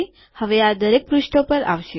હવે આ દરેક પુષ્ઠો પર આવશે